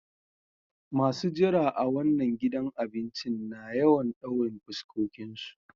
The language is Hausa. Masun jira a wanan gidan abincin na yawan daurin fuskokin su.